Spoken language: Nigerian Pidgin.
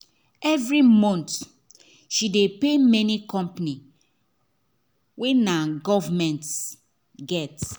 every month she dey pay many company wey nah government get